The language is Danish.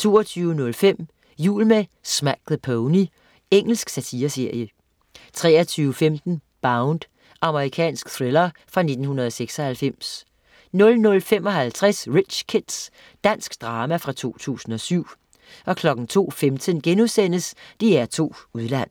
22.05 Jul med Smack the Pony. Engelsk satireserie 23.15 Bound. Amerikansk thriller fra 1996 00.55 Rich Kids. Dansk drama fra 2007 02.15 DR2 Udland*